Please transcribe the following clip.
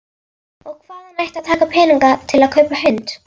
Og hvaðan ætti að taka peninga til að kaupa hund?